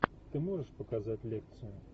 ты можешь показать лекцию